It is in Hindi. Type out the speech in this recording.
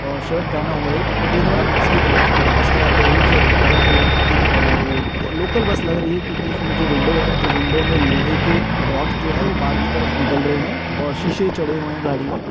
--और शर्ट पहना हुआ एक वो देख रहा है एक बस की तरफ और बस ऑरेंज वाइट कलर की और लोकल बस लग रही है क्यों की उसमे जो विंडो है वो विंडो में लोहे के रोड जो है वह बहार की तरफ निकल रहे है और शीशे चढ़े हुए है गाड़ी में।